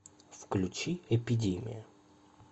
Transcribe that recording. включи эпидемия